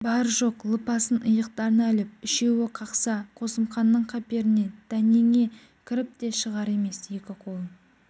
бар-жоқ лыпасын иықтарына іліп үшеуі қақса қосымханның қаперіне дәнеңе кіріп те шығар емес екі қолын